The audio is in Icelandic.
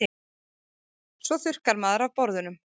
Svo þurrkar maður af borðunum.